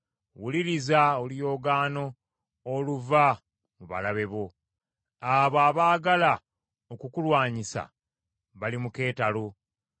Wuliriza oluyoogaano oluva mu balabe bo; abo abaagala okukulwanyisa bali mu keetalo.